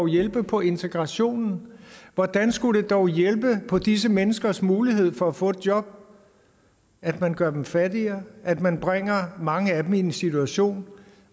hjælpe på integrationen hvordan skulle det dog hjælpe på disse menneskers mulighed for at få et job at man gør dem fattigere at man bringer mange af dem i en situation